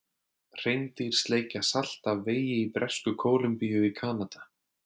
Hreindýr sleikja salt af vegi í Bresku-Kólumbíu í Kanada.